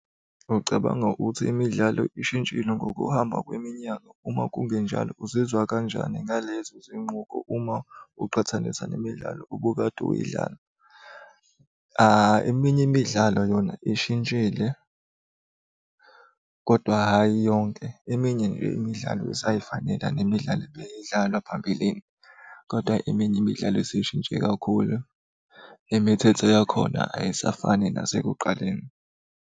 Ucabanga ukuthi imidlalo ishintshile ngokuhamba kweminyaka, uma kungenjalo uzizwa kanjani ngalezo zinqubo uma uqhathanisa nemidlalo obukade uyidlala? Eminye imidlalo yona ishintshile kodwa hhayi yonke, eminye nje imidlalo, isay'fanela nemidlala ebeyidlalwa phambilini, kodwa eminye imidlalo seyishintshe kakhulu imithetho yakhona ayisafani nasekuqaleni.